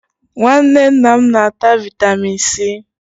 Nwanne nna m na-ata vaịtamịn C.